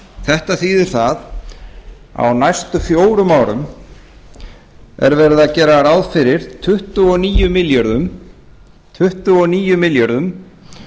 þetta þýðir það að á næstu fjórum árum er verið að gera ráð fyrir tuttugu og níu milljörðum